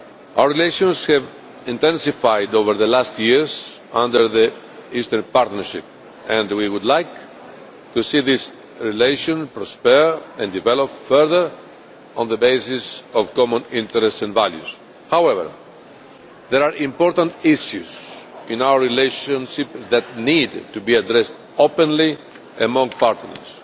Our relations have intensified over the last years under the Eastern Partnership, and we would like to see this relationship prosper and develop further on the basis of common interests and values. However, there are important issues in our relationship that need to be addressed openly among partners.